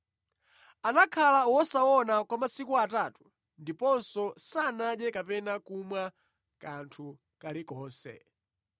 Anakhala wosaona kwa masiku atatu ndiponso sanadye kapena kumwa kanthu kalikonse.